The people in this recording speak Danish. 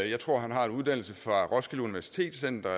jeg tror han har en uddannelse fra roskilde universitet